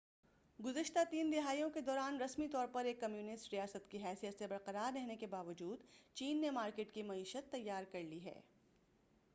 گزشتہ تین دہائیوں کے دوران رسمی طور پر ایک کمیونسٹ ریاست کی حیثیت سے برقرار رہنے کے باوجود چین نے مارکیٹ کی معیشت تیار کرلی ہے